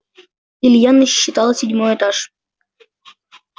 илья насчитал седьмой этаж